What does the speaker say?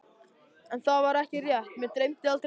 En það var ekki rétt, mig dreymdi aldrei neitt.